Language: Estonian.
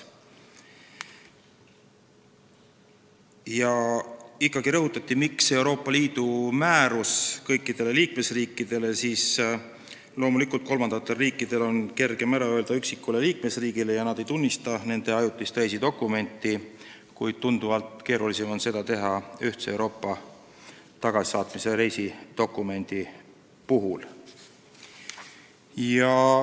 Vastusena küsimusele, miks on vaja Euroopa Liidu määrust kõikidele liikmesriikidele, rõhutati ikkagi seda, et loomulikult on kolmandatel riikidel kergem ära öelda üksikule liikmesriigile ja mitte tunnustada tema ajutist reisidokumenti, kuid tunduvalt keerulisem on neil seda teha ühtse Euroopa tagasisaatmise reisidokumendi puhul.